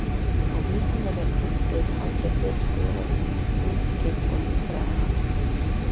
Á Vísindavefnum hefur talsvert verið skrifað um minkinn og líffræði hans.